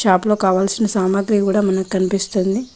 లోపల కావాల్సిన సామాగ్రి కూడా మనకి కనిపిస్తుంది.